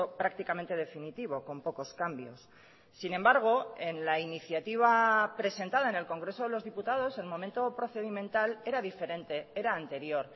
prácticamente definitivo con pocos cambios sin embargo en la iniciativa presentada en el congreso de los diputados el momento procedimental era diferente era anterior